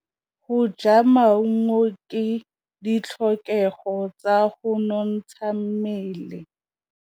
Go ja maungo ke ditlhokegô tsa go nontsha mmele.